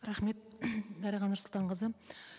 рахмет дариға нұрсұлтанқызы